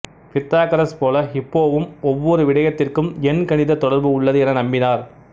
Pythagoras போல ஹிப்போவும் ஒவ்வொரு விடயத்திற்கும் எண் கணித தொடர்பு உள்ளது என நம்பினார்